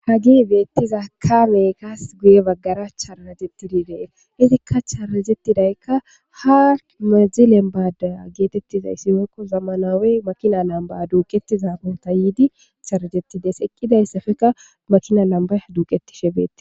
Hagee beethiza kaamee kas guye baggara charajeththidi de7ees;ethikka charajeththidaykka haa benzile maaddaya geetheththizayssi woykko zamanaawee makinaa lambbaa duuqeththizaa yiidi charajeththi des;eqqidaysapeka makinaa lambbay duuqeththishee beetthes.